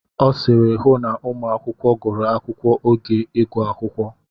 Ọ sịịrị, hụ na ụmụ akwụkwọ gụrụ akwụkwọ oge ịgụ akwụkwọ.